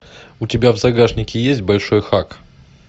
у тебя в загашнике есть большой хак